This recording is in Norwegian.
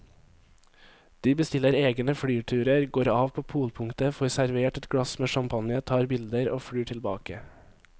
De bestiller egne flyturer, går av på polpunktet, får servert et glass med champagne, tar bilder og flyr tilbake.